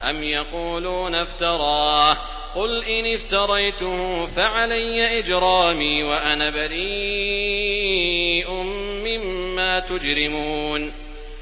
أَمْ يَقُولُونَ افْتَرَاهُ ۖ قُلْ إِنِ افْتَرَيْتُهُ فَعَلَيَّ إِجْرَامِي وَأَنَا بَرِيءٌ مِّمَّا تُجْرِمُونَ